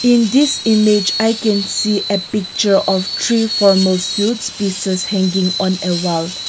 in this image i can see a picture of true formal suits pieces hanging on the wall.